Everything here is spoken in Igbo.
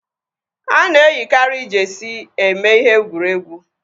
Ana eyikari jeesi eme ihe egwuregwu